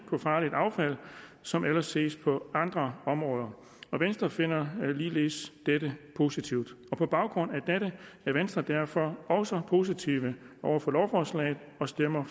farligt affald som ellers ses på andre områder og venstre finder ligeledes dette positivt på baggrund af dette er venstre derfor også positive over for lovforslaget og stemmer